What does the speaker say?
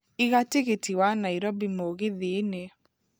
iga tigiti wa Nairobi mũgithi-inĩ